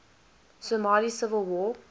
somali civil war